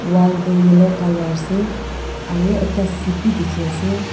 wall toh yellow colour ase aro ekta seat beh teki ase.